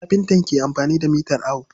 Kafinta na amfani da mitar awo.